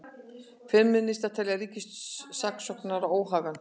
Femínistar telja ríkissaksóknara óhæfan